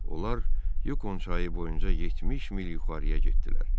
Onlar Yukon çayı boyunca 70 mil yuxarıya getdilər.